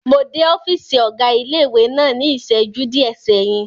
Mo dé ọ́fìsì ọ̀gá ilé-ìwé náà ní ìsẹ́jú díẹ̀ sẹ́yìn